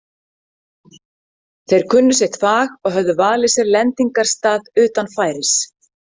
Þeir kunnu sitt fag og höfðu valið sér lendingarstað utan færis.